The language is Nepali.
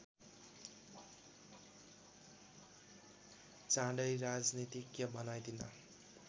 चाँडै राजनीतिज्ञ बनाइदिन